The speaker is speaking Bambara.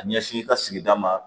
A ɲɛsin i ka sigida ma